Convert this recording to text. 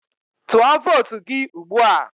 Tụọ vootu gị ugbua!